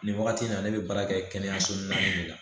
Nin wagati in na ne bɛ baara kɛ kɛnɛyaso min na nin de la